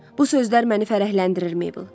Bu sözlər məni fərəhləndirir, Mabel.